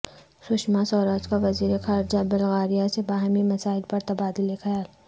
سشما سوراج کا وزیر خارجہ بلغاریہ سے باہمی مسائل پر تبادلہ خیال